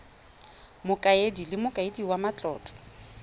mokaedi le mokaedi wa matlotlo